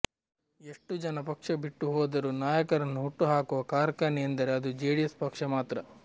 ಎಷ್ಟು ಜನ ಪಕ್ಷ ಬಿಟ್ಟು ಹೋದರೂ ನಾಯಕರನ್ನು ಹುಟ್ಟು ಹಾಕುವ ಕಾರ್ಖಾನೆ ಎಂದರೆ ಅದು ಜೆಡಿಎಸ್ ಪಕ್ಷ ಮಾತ್ರ